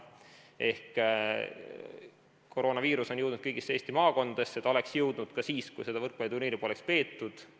Ehk koroonaviirus on jõudnud kõigisse Eesti maakondadesse, ta oleks jõudnud sinna ka siis, kui seda võrkpalliturniiri poleks peetud.